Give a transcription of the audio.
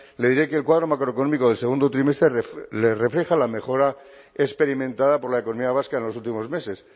le diré que el cuadro macroeconómico del segundo trimestre le refleja la mejora experimentada por la economía vasca en los últimos meses